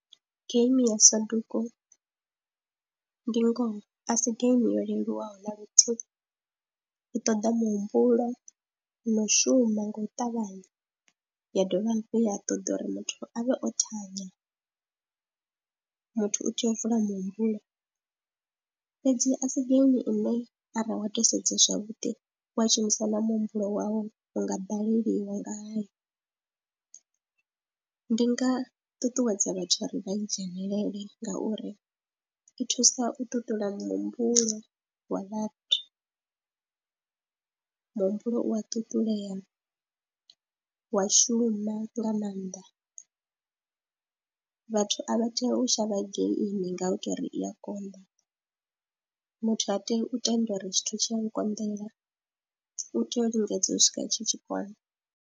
Geimi ya Soduku ndi ngoho a si geimi yo leluwaho na luthihi, i ṱoḓa muhumbulo no u shuma nga u ṱavhanya, ya dovha hafhu ya a ṱoḓa uri muthu a vhe o thanya, muthu u tea u vula muhumbulo fhedzi a si geimi ine wa tou sedza zwavhuḓi wa shumisa na muhumbulo wau u nga baleliwa ngayo. Ndi nga ṱuṱuwedza vhathu uri vha dzhenelele ngauri i thusa u ṱuṱula muhumbulo wa vhathu, muhumbulo u a ṱuṱulea wa shuma nga maanḓa, vhathu a vha tei u shavha geimi nga u tou ri i a konḓa, muthu ha tei u tenda uri tshithu tshi a nkonḓela, u tea u lingedza u swika tshi tshi kona.